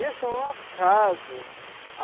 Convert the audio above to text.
Isso é um acaso.